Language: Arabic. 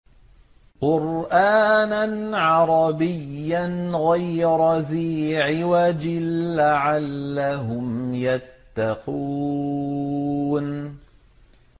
قُرْآنًا عَرَبِيًّا غَيْرَ ذِي عِوَجٍ لَّعَلَّهُمْ يَتَّقُونَ